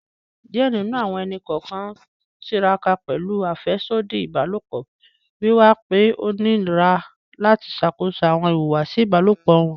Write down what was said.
Diẹ ninu awọn ẹni-kọọkan n tiraka pẹlu afẹsodi ibalopọ, wiwa pe o nira lati ṣakoso awọn ihuwasi ibalopọ wọn